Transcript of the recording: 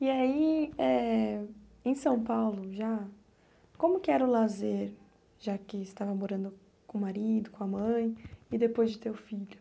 E aí, eh em São Paulo já, como que era o lazer, já que estava morando com o marido, com a mãe, e depois de ter o filho?